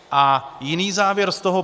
A jiný závěr z toho.